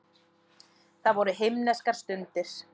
Það voru himneskar stundir.